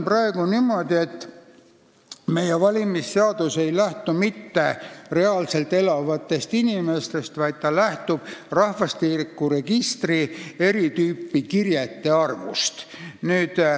Praegu on niimoodi, et meie valimisseadus ei lähtu mitte reaalselt elavatest inimestest, vaid lähtub rahvastikuregistris olevate eri tüüpi kirjete arvust.